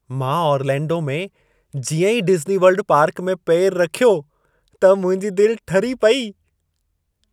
मां ऑरलैंडो में जीअं ई डिज़्नीवर्ल्ड पार्क में पेर रखियो, त मुंहिंजी दिलि ठरी पेई।